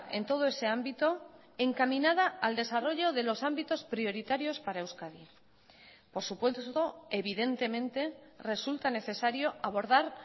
en todo ese ámbito encaminada al desarrollo de los ámbitos prioritarios para euskadi por supuesto evidentemente resulta necesario abordar